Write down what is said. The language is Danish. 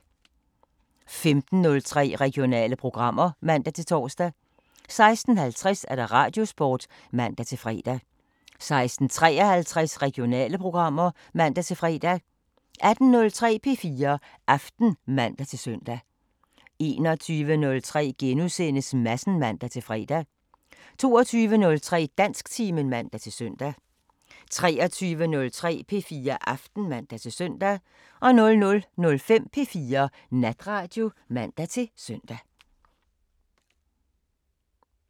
15:03: Regionale programmer (man-tor) 16:50: Radiosporten (man-fre) 16:53: Regionale programmer (man-fre) 18:03: P4 Aften (man-søn) 21:03: Madsen *(man-fre) 22:03: Dansktimen (man-søn) 23:03: P4 Aften (man-søn) 00:05: P4 Natradio (man-søn)